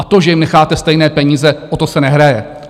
A to, že jim necháte stejné peníze, o to se nehraje.